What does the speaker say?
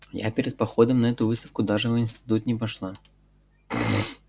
я перед походом на эту выставку даже в институт не пошла